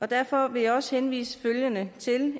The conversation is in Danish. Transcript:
derfor vil jeg også henvise til